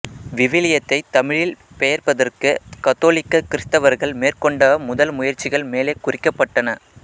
விவிலியத்தைத் தமிழில் பெயர்ப்பதற்குக் கத்தோலிக்க கிறித்தவர்கள் மேற்கொண்ட முதல்முயற்சிகள் மேலே குறிக்கப்பட்டன